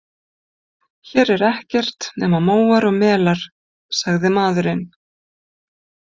Hér er ekkert nema móar og melar, sagði maðurinn.